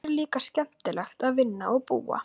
Hér er líka skemmtilegt að vinna og búa.